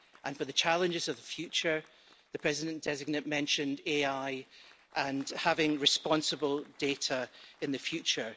For the challenges of the future, the President designate mentioned AI and having responsible data in the future.